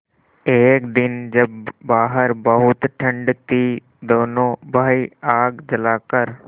एक दिन जब बाहर बहुत ठंड थी दोनों भाई आग जलाकर